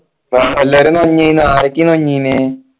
എല്ലാരും വന്നീന ആരൊക്കെയാ വന്നീനെ